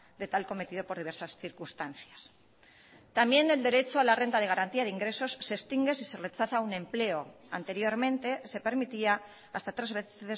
de tal cometido por diversas circunstancias también el derecho a la renta de garantía de ingresos se extingue si se rechaza un empleo anteriormente se permitía hasta tres veces